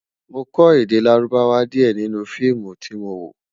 mọ kò èdè lárùbáwá diẹ nínú feemu tí mọ wo